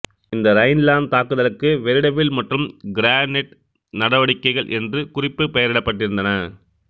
இந்த ரைன்லாந்து தாக்குதலுக்கு வெரிடபிள் மற்றும் கிரெனேட் நடவடிக்கைகள் என்று குறிப்பெயரிடப்பட்டிருந்தன